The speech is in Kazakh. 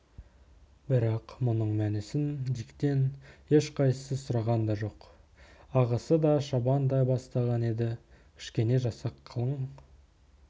бірақ мұның мәнісін диктен ешқайсысы сұраған да жоқ ағысы да шабандай бастаған еді кішкене жасақ қалың